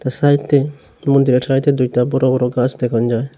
সাইতে মন্দিরের সাইতে দুইটা বড় বড় গাছ দেখন যায়।